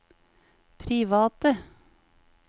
private